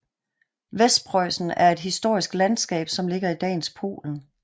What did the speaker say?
Vestpreussen er et historisk landskab som ligger i dagens Polen